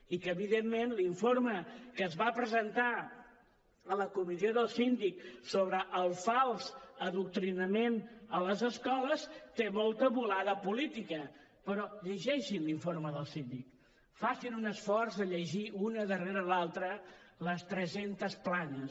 i que evidentment l’informe que es va presentar a la comissió del síndic sobre el fals adoctrinament a les escoles té molta volada política però llegeixin l’informe del síndic facin un esforç de llegir una darrera l’altra les tres centes planes